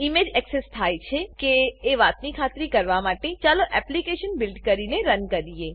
image access થાય છે કે એ વાતની ખાતરી કરવા માટે ચાલો એપ્લીકેશન બીલ્ડ કરીને રન કરીએ